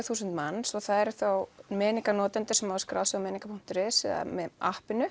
þúsund manns svo það eru þá Meniga notendur sem hafa skráð sig á meniga punktur is eða með